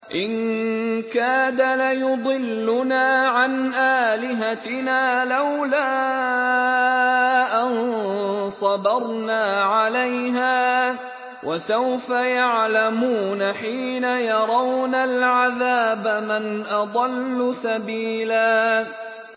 إِن كَادَ لَيُضِلُّنَا عَنْ آلِهَتِنَا لَوْلَا أَن صَبَرْنَا عَلَيْهَا ۚ وَسَوْفَ يَعْلَمُونَ حِينَ يَرَوْنَ الْعَذَابَ مَنْ أَضَلُّ سَبِيلًا